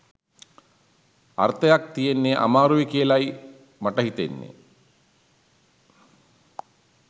අර්තයක් තියෙන්න අමාරුයි කියලයි මට හිතෙන්නේ.